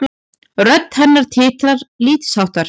Rödd hennar titrar lítilsháttar.